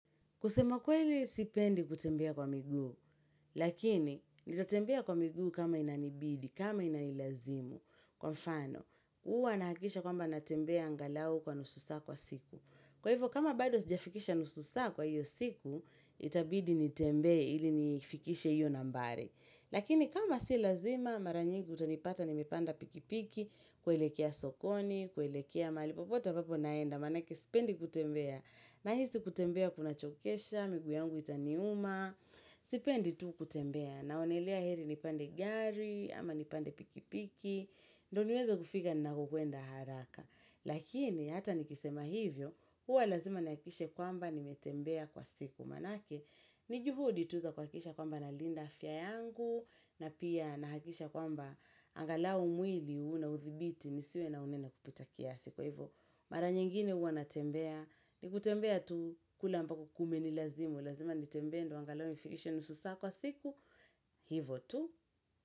Kusema kweli sipendi kutembea kwa miguu, lakini nitatembea kwa migu kama inanibidi, kama inanilazimu. Kwa mfano, huwa nahakikisha kwamba natembea angalau kwa nusu saa kwa siku. Kwa hivyo, kama bado sijafikisha nusu saa kwa hiyo siku, itabidi nitembee ili nifikishe hiyo nambari. Lakini kama si lazima, maranyingi utanipata nimepanda pikipiki, kuelekea sokoni, kuelekea mahalipopote ambapo naenda. Maana yake sipendi kutembea, nahisi kutembea kuna chokesha, miguu yangu itaniuma, sipendi tu kutembea. Naonelea heri nipande gari, ama nipande pikipiki, ndio niweza kufika ninakokwenda haraka. Lakini, hata nikisema hivyo, hua lazima nihakikishe kwamba nimetembea kwa siku. Maanake, nijuhudi tu zakuhakikisha kwamba na linda afya yangu, na pia nahakikisha kwamba angalau mwili una uthibiti nisiwe na unene kupitakiasi. Siko hivo. Mara nyingine huwanatembea. Nikutembea tu kule ambako kumeni lazimu. Lazima nitembee ndio angalau nifikishe nusu saa kwa siku. Hivyo tu.